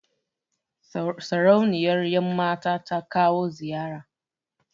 Sarauniyar ƴan mata ta kawo ziyara